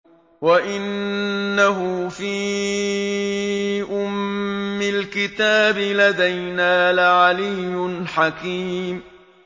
وَإِنَّهُ فِي أُمِّ الْكِتَابِ لَدَيْنَا لَعَلِيٌّ حَكِيمٌ